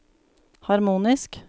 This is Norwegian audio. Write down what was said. harmonisk